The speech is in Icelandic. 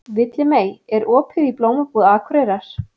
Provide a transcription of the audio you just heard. Villimey, er opið í Blómabúð Akureyrar?